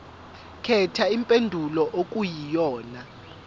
khetha impendulo okuyiyona